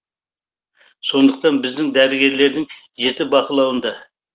сондықтан біздің дәрігерлердің жеті бақылауында